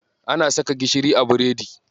Ana saka gishiri a biredi.